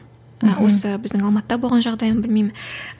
і осы біздің алматыда болған жағдай ма білмеймін